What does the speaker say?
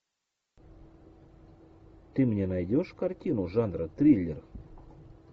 ты мне найдешь картину жанра триллер